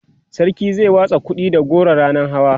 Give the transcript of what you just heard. sarki zai watsa kuɗi da goro ranan hawa